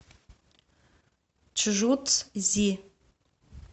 чжуцзи